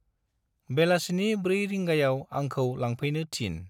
बेलासिनि 4 रिंगायाव आंखौ लांफैनो थिन।